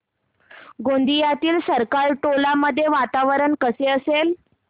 गोंदियातील सरकारटोला मध्ये वातावरण कसे असेल